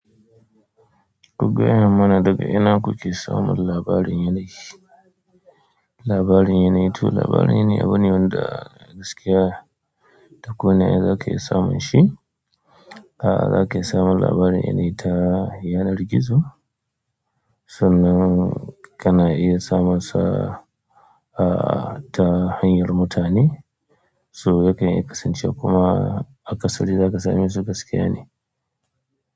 Ku gaya mana daga ina kuke samun labarin yanayi. Labarin yanayi to labarin yanayi abu ne wanda gaskiya ta ko ina za ka iya samun shi. A'a za ka iya samun labarin yanayi ta yanar rigizo sannan ka na iya samun sa aa ta hanyar mutane so ya kan iya kasancewa kuma a kasari za ka same su gaskiya ne.